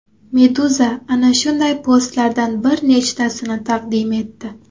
Meduza ana shunday postlardan bir nechtasini taqdim etdi .